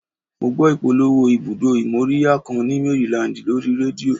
Mo gbọ́ ìpolówó ibùdó ìmóríyá kan ni Maryland lórí rédíò